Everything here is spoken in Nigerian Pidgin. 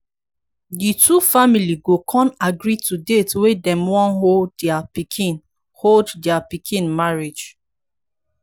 di two family go con agree to date wey dem wan hold dia pikin hold dia pikin marriage